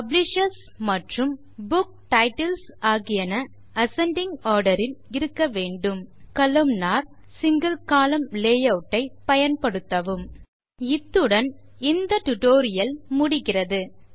இத்துடன் LibreOffice Base மீதான இந்த ஸ்போக்கன் டியூட்டோரியல் முடிகிறது